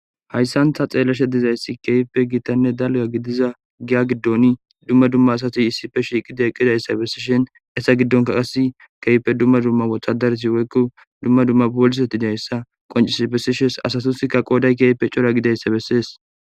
Haysan ta xeelashe dizaysi keehipe dalgane gita giya gidon duma duma asay issipe shiiqidine eqidaysa besishe haysa gidonka Kase keehipe duma duma wotadarati woyko duma duma poolisti qoncisidi besishe asatika kase qooday cora gidizaysa beses.